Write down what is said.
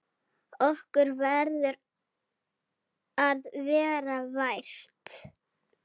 Okkur verður að vera vært!